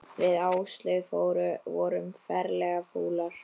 Við Áslaug vorum ferlega fúlar.